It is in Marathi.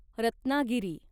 रत्नागिरी